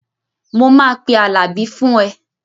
Mo máa pe Àlàbí fún ẹ